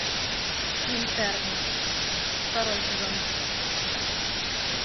интерны второй сезон